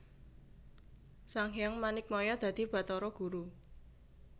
Sanghyang Manikmaya dadi Batara Guru